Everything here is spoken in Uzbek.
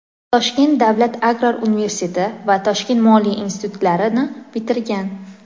Toshkent davlat agrar universiteti va Toshkent moliya institutlarini bitirgan.